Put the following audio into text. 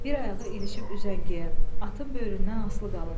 Bir ayağı ilişib üzəngiyə, atın böyründən asılı qalıb.